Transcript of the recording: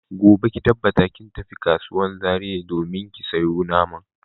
Gobe ki tabbata kin tafi kasuwan Zaria ki domin sayo naman.